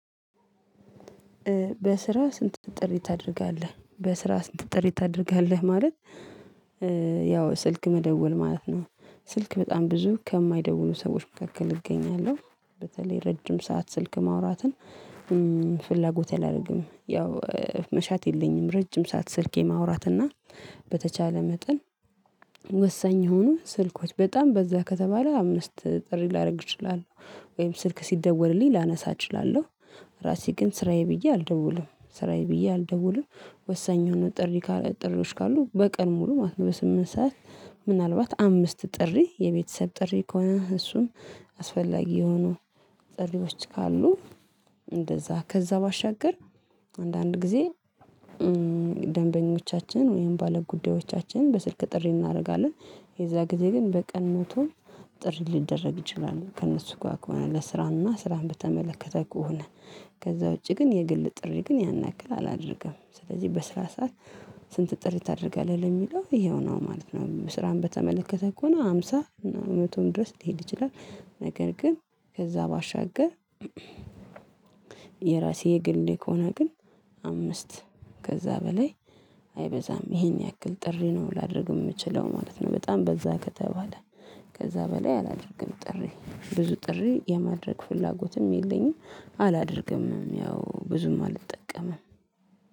በስራ ስንት ጥሪ ታደርጋለህ በስራ ስንት ጥሪ ታደርጋለህ ማለት? ያው ስልክ መደወል ማለት ነው። ስልክ በጣም ብዙ ከማይደውሉ ሰዎች መካከል እገኛለሁ በተለይ ረጅም ሰዓት ስልክ ማውራትን ፍላጎቴ አላረግም ያው መሻት የለኝም። ረጅም ሰዓት ስልክ የማውራት እና በተቻለ መጠን ወሳኝ የሆኑ ስልኮች በጣም በዛ ከተባለ አምስት ጥሪ ላረግ እችላለሁ። ወይም ስልክ ሲደወልልኝ ላነሳ እችላለሁ። ራሴ ግን ስራዬ ብዬ አልደውልም ስራዬ ብዬ አልደውልም። ወሳኝ የሆኑ ጥሪ ጥሪዎች ካሉ በቀን ሙሉ ማለት ነው። በስምንት ሰዓት ምናልባት አምስት ጥሪ የቤተሰብ ጥሪ ከሆነ እሱም አስፈላጊ የሆኑ ጥሪዎች ካሉ። እንደዛ ከዛ ባሻገር አንዳንድ ጊዜ ደንበኞቻችን ወይም ባለጉዳዮቻችን በስልክ ጥሪ እናረጋለን የዛ ጊዜ ግን በቀን መቶ ጥሪ ሊደረግ ይችላል ከእነሱ ጋር ከሆነ ለስራና ስራን በተመለከተ ኮሆነ። ከዛ ውጪ ግን የግል ጥሪ ግን ያን ያክል አላደርግም። ስለዚህ በስራ ሰዓት ስንት ጥሪ ታደርጋለህ የሚለው ይሄው ነው ማለት ነው። ስራን በተመለከተ ኮሆነ ሃምሳ እና መቶም ድረስ ሊሄድ ይችላል። ነገር ግን ከዛ ባሻገር የራሴ የግሌ ከሆነ ግን አምስት ከዛ በላይ አይበዛም። ይሄን ያክል ጥሪ ነው ላደርግ የምችለው ማለት ነው። በጣም በዛ ከተባለ ከዛ በላይ አላደርግም ጥሪ ብዙ ጥሪ የማድረግ ፍላጎትም የለኝም። አላደርግምም ያው ብዙም አልጠቀምም